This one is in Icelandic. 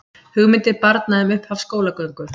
Hugmyndir barna um upphaf skólagöngu